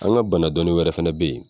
An ga bana dɔnin wɛrɛ fɛnɛ be yen